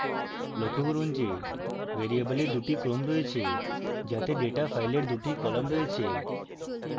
লক্ষ্য করুন যে ভ্যারিয়েবলে দুটি ক্রম রয়েছে যাতে ডেটা file দুটি কলাম রয়েছে